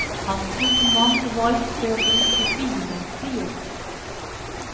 Han tror mange valgte å bruke bilen til jobb.